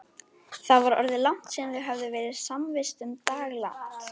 Það var orðið langt síðan þau höfðu verið samvistum daglangt.